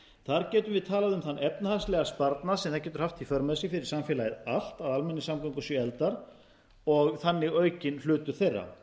þar getum við talað um þann efnahagslega sparnað sem það getur haft í för með sér fyrir samfélagið allt að almenningssamgöngur séu efldar og þannig aukinn hlutur þeirra